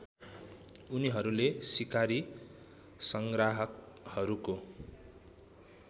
उनीहरूले सिकारी सङ्ग्राहकहरूको